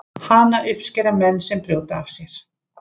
Hana uppskera menn sem brjóta af sér.